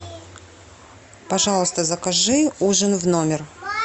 пожалуйста закажи ужин в номер